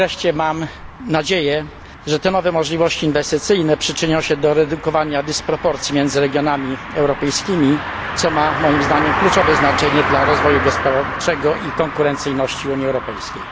Mam nadzieję, że te nowe możliwości inwestycyjne przyczynią się do zredukowania dysproporcji między regionami europejskimi, co moim zdaniem ma kluczowe znaczenie dla rozwoju gospodarczego i konkurencyjności Unii Europejskiej.